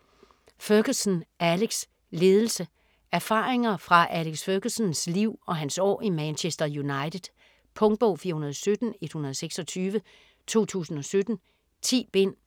Ferguson, Alex: Ledelse Erfaringer fra Alex Fergusons liv og hans år i Manchester United. Punktbog 417126 2017. 10 bind.